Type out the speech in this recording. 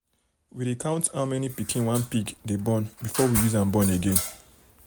we dey count how many pikin one pig dey born before we use am born again